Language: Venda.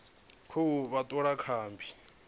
khou vha thola kha mmbi